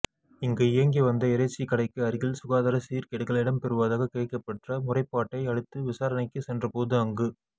இங்கு இயங்கி வந்த இறைச்சி கடைக்கு அருகில் சுகாதார சீர்கேடுகள் இடம்பெறுவதாக கிடைக்கப்பெற்ற முறைபாட்டை அடுத்து விசாரணைக்கு சென்றபோது அங்கு